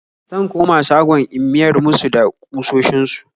Zan koma shagon in miyar musu da kusoshin su